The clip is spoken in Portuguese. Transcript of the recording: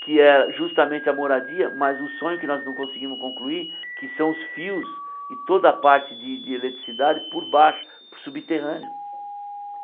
Que é justamente a moradia, mas o sonho que nós não conseguimos concluir, que são os fios e toda a parte de de eletricidade por baixo, por subterrâneo.